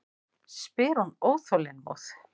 spyr hún óþolinmóð.